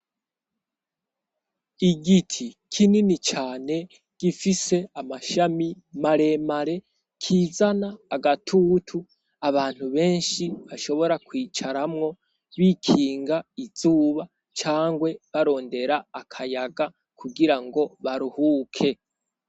igiti kinini cane gifise amashami maremare kizana agatutu abantu benshi bashobora kwicaramwo bikinga izuba cangwe barondera akayaga kugira ngo baruhuke